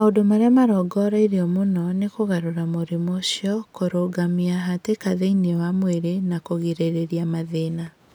Maũndũ marĩa marongoreirio mũno nĩ kũgarũra mũrimũ ũcio, kũrũgamia hatĩka thĩinĩ wa mwĩrw, na kũgirĩrĩria mathĩna.